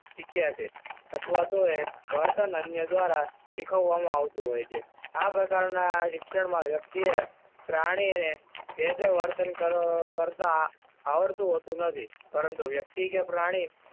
શીખ્યા છે અથવા તો વર્તન અન્ય દ્વારા શીખવવામાં આવતું હોય છે. આ પ્રકારના શિક્ષણમાં વ્યક્તિએ પ્રાણીને જે તે વર્તન કરતા આવડતું હોતું નથી. પરંતુ, વ્યક્તિ કે પ્રાણી